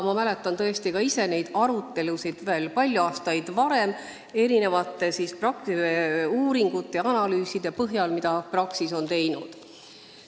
Ma mäletan ka ise neid palju aastaid varem olnud arutelusid erinevate uuringute ja analüüside põhjal, mida Praxis on teinud.